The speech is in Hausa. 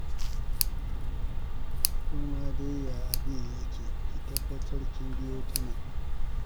Ko ma dai ya abin yake ki tabbatar kin biyo ta nan.